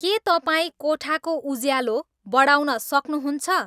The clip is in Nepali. के तपाईँ कोठाको उज्यालो बढाउन सक्नुहुन्छ